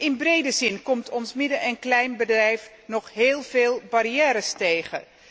In brede zin komt ons midden en kleinbedrijf nog heel veel barrières tegen.